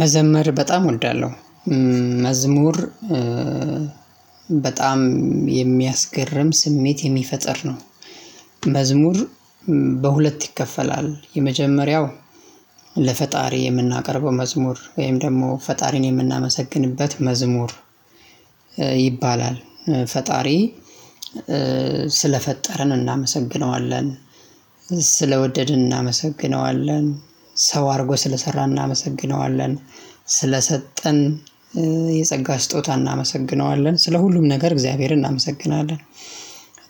መዘመር በጣም እወልዳለሁ መዝሙር በጣም የሚያስገርም ስሜት የሚፈጥር ነው። መዝሙር በሁለት ይከፈላል የመጀመሪያው ለፈጣሪ የምናቀርበው መዝሙር ወይም ደግሞ ፈጣሪን የምናመሰግንበት መዝሙር ይባላል። ፈጣሪ ስለፈጠርን እናመሰግነዋለን ስለወደድን እናመሰግነዋለን ሰው አድርጎ ስለሰራን እናመሰግነዋለን። ስለሰጠን የጸጋ ስጦታ እናመሰግነዋለን ስለ ሁሉም ነገር እግዚአብሔርን እናመሰግናለን።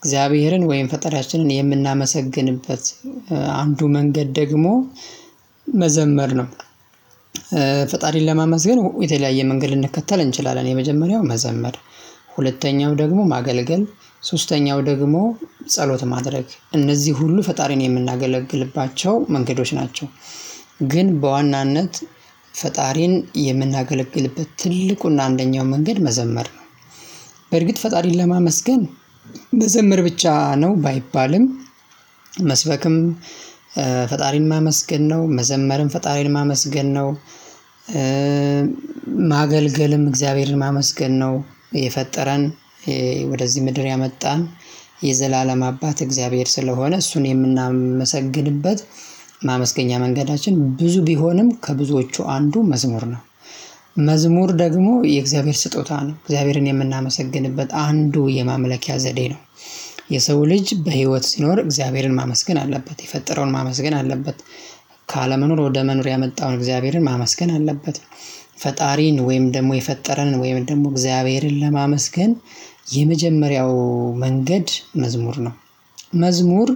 እግዚአብሔርን ወይም ፈጠሪያችንን የምናመሰግንበት አንዱ መንገድ ደግሞ መዘመር ነው። ፈጣሪን ለማመስገን የተለያየ መንገድ ልንከተል እንችላለን። የመጀመሪያው መዘመር ሁለተኛው ደግሞ ማገልገል ሶስተኛው ደግሞ ጸሎት ማድረግ እነዚህ ሁሉ ፈጣሪን የምናገለግልባቸው መንገዶች ናቸው። ግን በዋናነት ፈጣሪን የምናገለግልበት ትልቁና አንደኛው መንገድ መዘመር ነው። በርግጥ ፈጣሪን ለማመስገን መዘመር ብቻ ነው ባይባልም። መስበክም ፈጣሪን ማመስገን ነው መዘመርም ፈጣሪን ማመስገን ነው። ማገልገልም እግዚአብሔርን ማመስገን ነው። የፈጠረን ወደዚህ ምድር ያመጣን የዘላለም አባት እግዚአብሔር ስለሆነ እሱን የምናመሰግንበት ማመስገኛ መንገዳችን ብዙ ቢሆንም ከብዙዎቹ አንዱ መዝሙር ነው። መዝሙር ደግሞ የእግዚአብሔር ስጦታ ነው። እግዚአብሔርን የምናመሰግንበት አንዱ የማምለኪያ ዘዴ ነው። የሰው ልጅ በህይወት ሲኖር እግዚአብሔርን ማመስገን አለበት የፈጠረውን ማመስገን አለበት። ካለመኖር ወደ መኖር ያመጣውን እግዚአብሔርን ማመስገን አለበት። ፈጣሪን ወይም ደግሞ የፈጠረንን ወይም ደግሞ እግዚአብሔርን ለማመስገን የመጀመሪያው መንገድ መዝሙር ነው። መዝሙር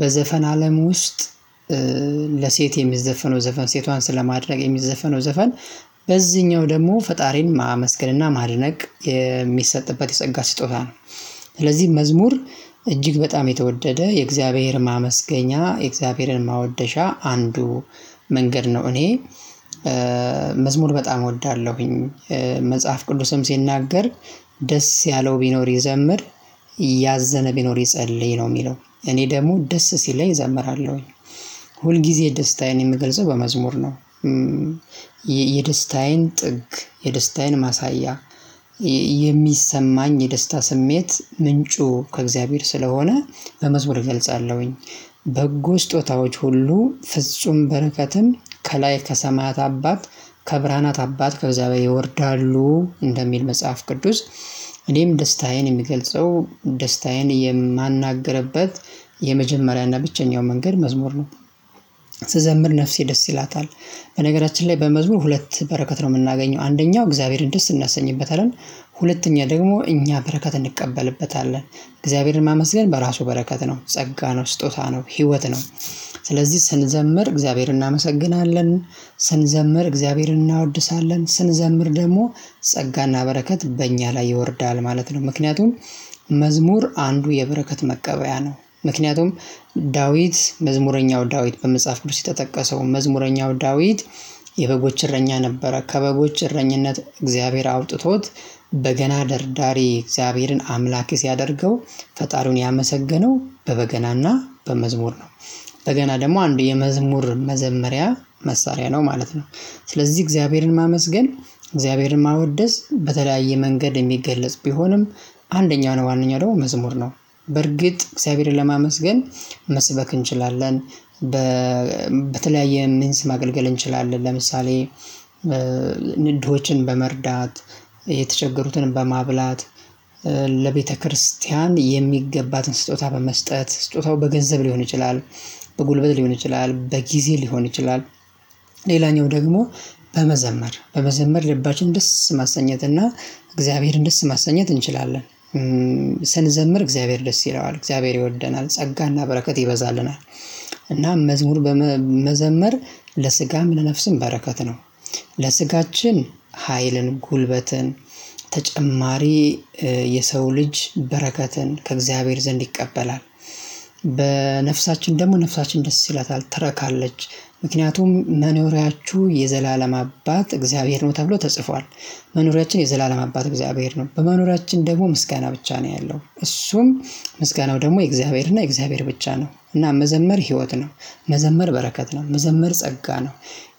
በዘፈን አለም ውስጥ ለሴት የሚዘፈነው ዘፈን ሴቷን ስለማድመቅ የሚዘፈነው ዘፈን በዚህኛው ደግሞ ፈጣሪን ማመስገን እና ማድነቅ የሚሰጥበት የጸጋ ስጦታ ነው። ስለዚህ መዝሙር እጅግ በጣም የተወደደ የእግዚአብሔርን ማመስገኛ እግዚአብሔርን ማወደሻ አንዱ መንገድ ነው። እኔ መዝሙር በጣም እወዳለሁኝ መጽሐፍ ቅዱስም ሲናገር ደስ ያለው ቢኖር ይዘምር። ያዘነ ቢኖር ይጸልይ ነው የሚለው እኔ ደግሞ ደስ ሲለኝ እዘምራለሁኝ ሁል ጊዜ የደስታዬን የምገልጸው በመዝሙር ነው። የደስታዬን ጥግ የደስታዬን ማሳያ የሚሰማኝ የደስታ ስሜት ምንጩ ከእግዚአብሔር ስለሆነ በመዝሙር እገልጻለሁኝ። በጎ ስጦታዎች ሁሉ ፍጹም በረከትም ከላይ ከሰማያት አባት ከብርሃናት አባት ከእግዚአብሔር ይወርዳሉ እንደሚል መጽሐፍ ቅዱስ። እኔም ደስታዬን የሚገልጸው ደስታዬን የማናገርበት ብቸኛው መንገድ መዝሙር ነው። ስዘምር ነፍሴ ደስ ይላታል። በነገራችን ላይ በመዝሙር ሁለት በረከት ነው የምናገኘው አንደኛው እግዚአብሔርን ደስ እናሰኝበታለን ሁለተኛ ደግሞ እኛ በረከት እንቀበልበታለን እግዚአብሔርን ማመስገን በራሱ በረከት ነው ጸጋ ነው ስጦታ ነው ህይወት ነው። ስለዚህ ስንዘምር እግዚአብሔርን እናመሰግናለን ስንዘምር እግዚአብሔርን እናወድሳለን ስንዘምር ደግሞ ጸጋና በረከት በእኛ ላይ ይወርዳል ማለት ነው። ምክንያቱም መዝሙር አንዱ የበረከት መቀበያ ነው። ምክንያቱም ዳዊት መዝሙረኛው ዳዊት በመጽሐፍ ቅዱስ የተጠቀሰው መዝሙረኛው ዳዊት። የበጎች እረኛ ነበር ከበጎች እረኝነት እግዚአብሔር አውጥቶት በገና ደርዳሬ እግዚአብሔርን አምላክ ሲያደርገው ፈጣሪውን ያመሰገነው በበገናና በመዝሙር ነው። በገና ደግሞ አንድ የመዝሙር መዘመሪያ መሳሪያ ነው ማለት ነው። ስለዚህ እግዚአብሔርን ማመስገን እግዚአብሔርን ማወደስ በተለያየ መንገድ የሚገለጽ ቢሆንም አንደኛው ዋናው ደግሞ መዝሙር ነው። በርግጥ እግዚአብሔርን ለማመስገን መስበክ እንችላለን። በተለያየ ሚንስ ማገልግል እንችላለን ለምሳሌ ድሆችን በመርዳት የተቸገሩትንም በማብላት ለቤተክርስቲያን የሚገባትን ስጦታ በመስጠት ስጦታው በገንዘብ ሊሆን ይችላል። በጉልበት ሊሆን ይችላል በጊዜ ሊሆን ይችላል። ሌላኛው ደግሞ በመዘመር በመዘመር ልባችን ደስ ማሰኘትና እግዚአብሔርን ደስ ማሰኘት እንችላለን። ስንዘምር እግዚአብሔር ደስ ይለዋል እግዚአብሔር ይወደናል ጸጋና በረከት ይበዛልናል። እና መዝሙር መዘመር ለስጋም ለነፍስም በረከት ነው። ለስጋችን ሀይልን ጉልበትን ተጨማሪ የሰው ልጅ በረከትን ከእግዚአብሔር ዘንድ ይቀበላል። በነፍሳችን ደግሞ ነፍሳችን ደስ ይላታል ትረካለች ምክንያቱም መኖሪያችሁ የዘላለም አባት እግዚአብሔር ነው ተብሎ ተጽፏል። መኖሪያችን የዘላለም አባት እግዚአብሔር ነው በመኖሪያችን ደግሞ ምስጋና ብቻ ነው ያለው እሱም ምስጋናው ደግሞ የእግዚአብሔር እና የእግዚአብሔር ብቻ ነው እና መዘመር ህይወት ነው። መዘመር በረከት ነው መዘመር ጸጋ ነው።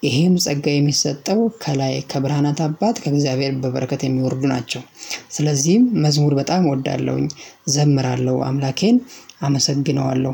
ይሄም ጸጋ የሚሰጠው ከላይ ከብራናት አባት ከእግዚአብሔር በበረከት የሚወርዱ ናቸው። ስለዚህም መዝሙር በጣም እወዳለሁኝ እዘምራለሁ አምላኬን አመሰግነዋለሁ